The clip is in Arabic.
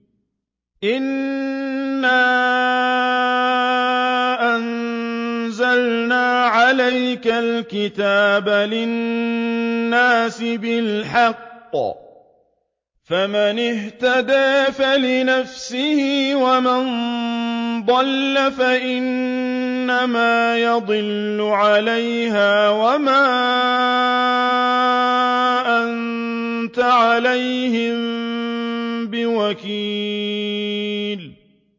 إِنَّا أَنزَلْنَا عَلَيْكَ الْكِتَابَ لِلنَّاسِ بِالْحَقِّ ۖ فَمَنِ اهْتَدَىٰ فَلِنَفْسِهِ ۖ وَمَن ضَلَّ فَإِنَّمَا يَضِلُّ عَلَيْهَا ۖ وَمَا أَنتَ عَلَيْهِم بِوَكِيلٍ